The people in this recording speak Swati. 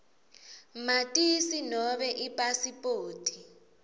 matisi nobe ipasipoti